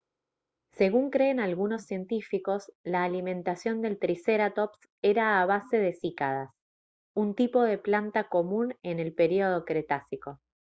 según creen algunos científicos la alimentación del tricerátops era a base de cícadas un tipo de planta común en el período cretácico